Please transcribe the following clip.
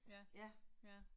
Ja, ja